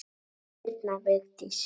Þín, Birna Vigdís.